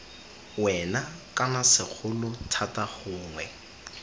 wena kana segolo thata gongwe